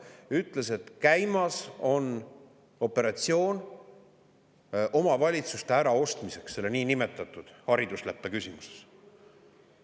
Ta ütles, et käimas on operatsioon omavalitsuste äraostmiseks selle niinimetatud haridusleppe küsimuses.